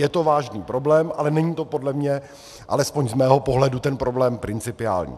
Je to vážný problém, ale není to podle mě, alespoň z mého pohledu, ten problém principiální.